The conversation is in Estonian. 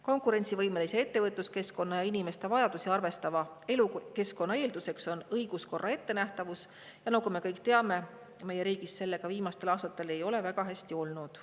Konkurentsivõimelise ettevõtluskeskkonna ja inimeste vajadusi arvestava elukeskkonna eelduseks on õiguskorra ettenähtavus, aga nagu me kõik teame, meie riigis sellega viimastel aastatel ei ole väga hästi olnud.